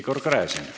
Igor Gräzin.